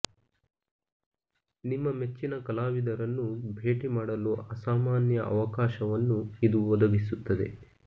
ನಿಮ್ಮ ಮೆಚ್ಚಿನ ಕಲಾವಿದರನ್ನು ಭೇಟಿ ಮಾಡಲು ಅಸಾಮಾನ್ಯ ಅವಕಾಶವನ್ನು ಇದು ಒದಗಿಸುತ್ತದೆ